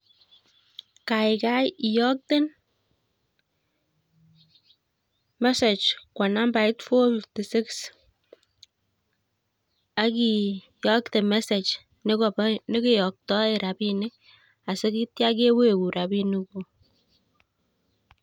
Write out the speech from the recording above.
Kai kai iyokten message kwo nambait four-fifty six, akiyokte message nekobo nekeyoktoen rabinik asikitya kewegun rabinik kuuk